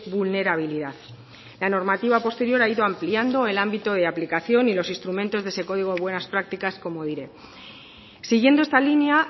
vulnerabilidad la normativa posterior ha ido ampliando el ámbito de aplicación y los instrumentos de ese código de buenas prácticas como diré siguiendo esta línea